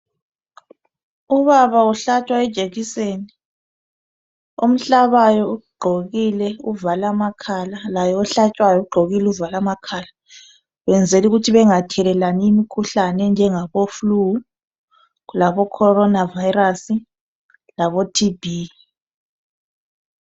Ubaba uhlatshwa ijekiseni. Omhlabayo ugqokile uvale amakhala, laye ohlatshwayo ugqokile uvale amakhala. Benzela ukuthi bengathelelani imikhuhlane enjengabo flu labo Colona Virus labo TB.